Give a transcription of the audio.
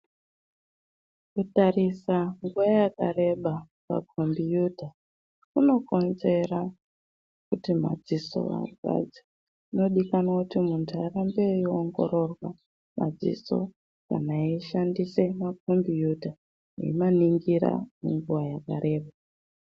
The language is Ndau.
Kutarisa nguwa yakareba pakhombiyuta, kunokonzera kuti madziso arwadze. Kunodikanwa kuti muntu arambe eiongororwa madziso, kana eishandise makhombiyuta, eimaningira kwenguwa yakareba.